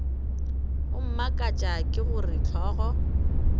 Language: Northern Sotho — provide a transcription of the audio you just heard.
go mmakatša ke gore hlogo